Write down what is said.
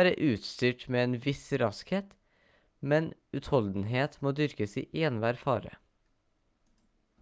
være utstyrt med en viss raskhet men utholdenhet må dyrkes i enhver fare